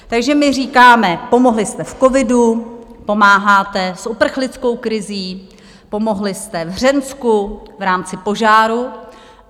Takže my říkáme: pomohli jste v covidu, pomáháte s uprchlickou krizí, pomohli jste v Hřensku v rámci požáru.